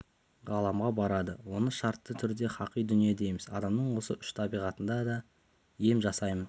ғаламға барады оны шартты түрде хақи дүние дейміз адамның осы үш табиғатына да ем жасаймын